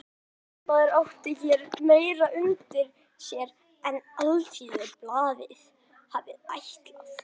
Ræðismaðurinn átti hér meira undir sér en Alþýðublaðið hafði ætlað.